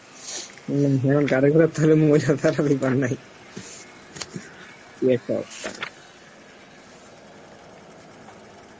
উম হম গাড়ি ঘোরা ব্যাপার নাই